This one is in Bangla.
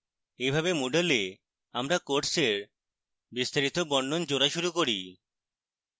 এইভাবে moodle we আমাদের কোর্সের বিস্তারিত বর্ণন জোড়া শুরু করি